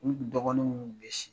N dɔgɔnin munnu be